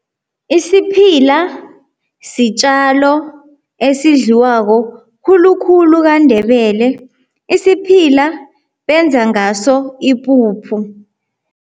Isiphila sitjalo esidliwako khulukhulu kaNdebele. Isiphila benza ngaso ipuphu.